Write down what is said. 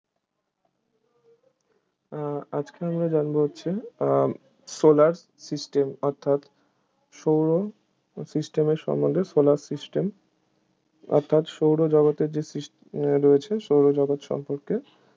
আজকে আমরা জানবো হচ্ছে আহ Solar system অর্থাৎ সৌর system এর সম্বন্ধে Solar system অর্থাৎ সৌরজগতের যে sys হম রয়েছে সৌরজগৎ সম্পর্কে